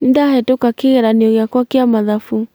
Nĩndahĩtũka kĩgeranio gĩkwa kĩa mathabu